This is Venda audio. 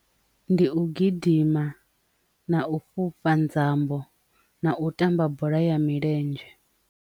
Ndi u gidima na u fhufha nzambo na u tamba bola ya milenzhe.